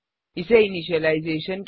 इसे इनिशियलाइजेशन